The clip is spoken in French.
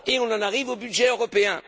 On en arrive au budget européen.